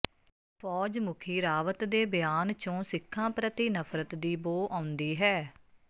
ਫੌਜ ਮੁਖੀ ਰਾਵਤ ਦੇ ਬਿਆਨ ਚੋਂ ਸਿੱਖਾਂ ਪ੍ਰਤੀ ਨਫਰਤ ਦੀ ਬੋ ਆਉਂਦੀ ਹੈ